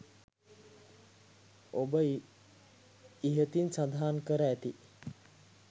ඔබ ඉහතින් සදහන් කර ඇති